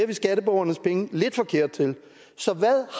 vi skatteborgernes penge lidt for kært til så hvad